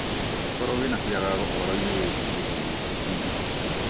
angĩkorwo wĩna kĩagago ũhoro-inĩ wĩgiĩ ADHD,